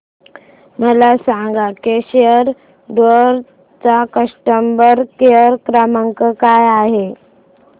मला सांगा केसरी टूअर्स चा कस्टमर केअर क्रमांक काय आहे